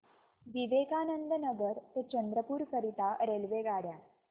विवेकानंद नगर ते चंद्रपूर करीता रेल्वेगाड्या